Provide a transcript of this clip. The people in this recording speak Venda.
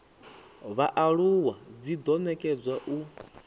vhaaluwa dzi do nekedzwa u